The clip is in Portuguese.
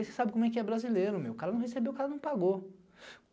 E você sabe como é que é brasileiro, o cara não recebeu, o cara não pagou.